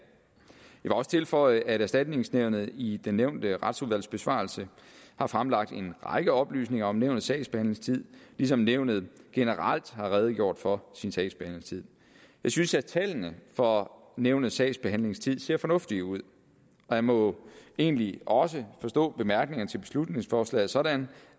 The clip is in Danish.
vil også tilføje at erstatningsnævnet i den nævnte retsudvalgsbesvarelse har fremlagt en række oplysninger om nævnets sagsbehandlingstid ligesom nævnet generelt har redegjort for sin sagsbehandlingstid jeg synes at tallene for nævnets sagsbehandlingstid ser fornuftige ud og jeg må egentlig også forstå bemærkningerne til beslutningsforslag sådan